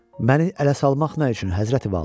Məni ələ salmaq nə üçün, Həzrəti Vəla?